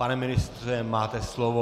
Pane ministře, máte slovo.